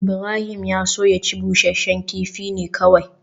Ibrahim ya so ya ci busasshen kifi ne kawai